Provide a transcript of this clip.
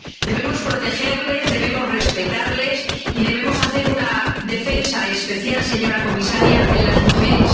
Debemos protegerlos, debemos respetarles y debemos hacer una defensa especial, señora comisaria, de las mujeres.